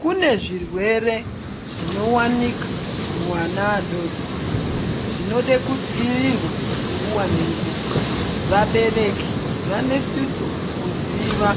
Kune zvirwere zvinowanikwa kuvana vadodori zvinoda kudzivirirwa nguwa ngenguwa vabereki vanosisa kuziva